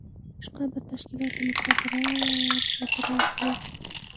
Boshqa biror bir tashkilotimizda biror bir e’tiroz yo‘q.